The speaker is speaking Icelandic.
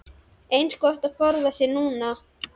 Eins gott að forða sér núna!